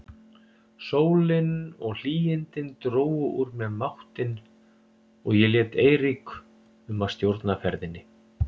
Sólin og hlýindin drógu úr mér máttinn og ég lét Eirík um að stjórna ferðinni.